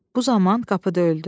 Bu zaman qapı döyüldü.